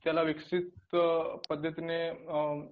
त्याला विकसित पद्धतीने अ